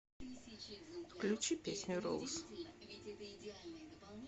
включи песню роуз